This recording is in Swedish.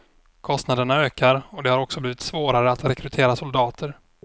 Kostnaderna ökar och det har också blivit svårare att rekrytera soldater.